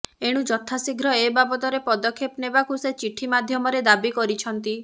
ଏଣୁ ଯଥାଶୀଘ୍ର ଏବାବଦରେ ପଦକ୍ଷେପ ନେବାକୁ ସେ ଚିଠି ମାଧ୍ୟମରେ ଦାବି କରିଛନ୍ତି